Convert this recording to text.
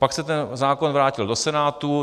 Pak se ten zákon vrátil do Senátu.